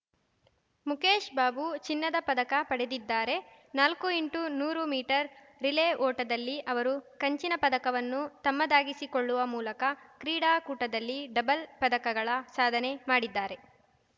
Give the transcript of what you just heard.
ಮುಖೇಶ್‌ ಬಾಬು ಚಿನ್ನದ ಪದಕ ಪಡೆದಿದ್ದಾರೆ ನಾಲ್ಕು ಇಂಟು ನೂರು ಮೀಟರ್‌ ರಿಲೆ ಓಟದಲ್ಲಿ ಅವರು ಕಂಚಿನ ಪದಕವನ್ನು ತಮ್ಮದಾಗಿಸಿಕೊಳ್ಳುವ ಮೂಲಕ ಕ್ರೀಡಾಕೂಟದಲ್ಲಿ ಡಬಲ್‌ ಪದಕಗಳ ಸಾಧನೆ ಮಾಡಿದ್ದಾರೆ